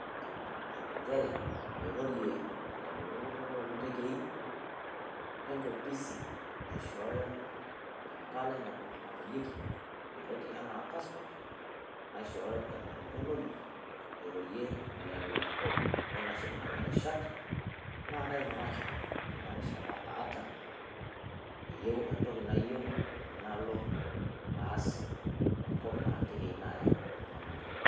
Ncheere pairori lelo leilkurorr le letegee e nkopisi naishooyo empalaa napoyeki eloti enaa passport naishooyo enyorr enkolongi airore lelo loitasheki nenia rishaat naa kaing'uraki tenia rishaata aata eiyeu ntoki nayeu naloo aas te nkop naa teegei naea iltung'anak.